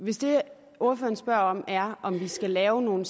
hvis det ordføreren spørger om er om vi skal lave nogle